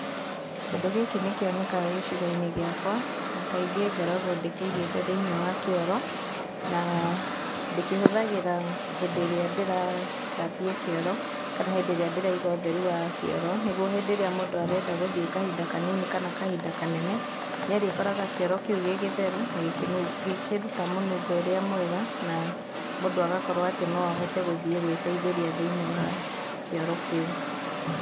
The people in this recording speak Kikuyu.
Kĩndũ gĩkĩ nĩ kĩonekaga gĩcigo-inĩ gĩakwa, na kaingĩ ngoragwo ndĩkĩigĩte thĩinĩ wa kĩoro, na ndĩkĩhũthagĩra hĩndĩ ĩrĩa ndĩrathambia kĩoro kana hĩndĩ ĩrĩa ndĩraiga ũtheru wa kĩoro, nĩguo hĩndĩ ĩrĩa mũndũ arenda gũthiĩ kahinda kanini kana kahinda kanene, nĩ arĩkoraga kĩoro kĩu gĩgĩtheru, na gĩkĩruta mũnungo ũrĩa mwega, na mũndũ agakorwo atĩ no ahote gũthiĩ gwĩteithĩria thĩinĩ wa kĩoro kĩu.